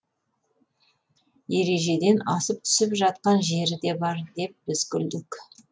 ережеден асып түсіп жатқан жері де бар деп біз күлдік